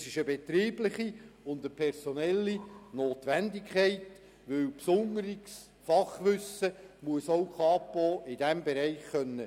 Das ist eine betriebliche und personelle Notwendigkeit, denn besonderes Fachwissen muss auch die Kapo in diesem Bereich einkaufen können.